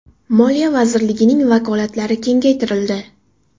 Moliya vazirligining vakolatlari kengaytirildi .